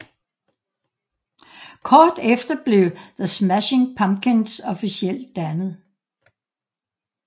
Kort efter blev The Smashing Pumpkins officielt dannet